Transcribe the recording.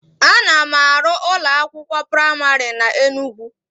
Ana m arụ ụlọ akwụkwọ praimarị na Enugwu